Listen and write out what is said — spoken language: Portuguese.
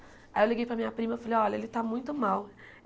Aí eu liguei para a minha prima e falei, olha, ele está muito mal.